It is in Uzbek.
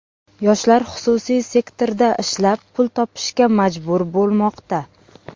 Yoshlar xususiy sektorda ishlab, pul topishga majbur bo‘lmoqda.